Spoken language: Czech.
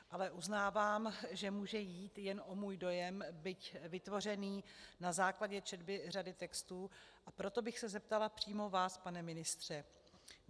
Ale uznávám, že může jít jen o můj dojem, byť vytvořený na základě četby řady textů, a proto bych se zeptala přímo vás, pane ministře.